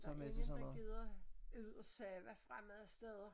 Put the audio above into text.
Der ingen der gider ud og sove fremmede steder